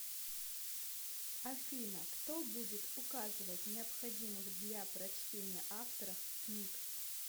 афина кто будет указывать необходимых для прочтения авторов книг